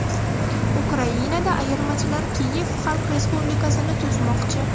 Ukrainada ayirmachilar Kiyev Xalq respublikasini tuzmoqchi.